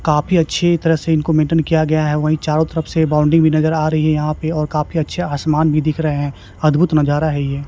काफी अच्छी तरह से इनको मेंटेन किया गया है वही चारों तरफ से बाउंड्री भी नजर आ रही है यहां पे और काफी अच्छे आसमान भी दिख रहे हैं अद्भुत नजारा है ये।